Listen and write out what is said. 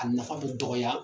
A nafa bɛ dɔgɔya